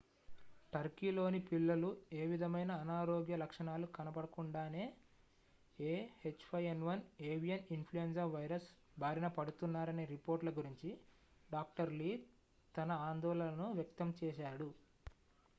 turkeyలోని పిల్లలు ఏ విధమైన అనారోగ్య లక్షణాలు కనపడకుండానే ah5n1 avian influenza virus బారిన పడుతున్నారనే రిపోర్ట్‌ల గురించి dr. lee తన ఆందోళనను వ్యక్తం చేశాడు